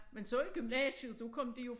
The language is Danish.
Men så i gymnasiet der kom de jo